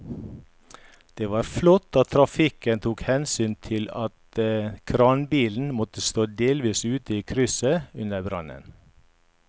Det var flott at trafikken tok hensyn til at kranbilen måtte stå delvis ute i krysset under brannen.